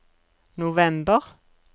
november